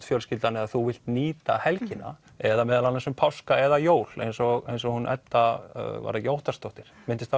fjölskyldan eða þú vilt nýta helgina eða meðal annars um páska eða jól eins og eins og hún Edda Óttarsdóttir minntist